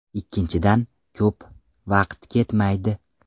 Ikkinchidan, ko‘p vaqt ketmaydi.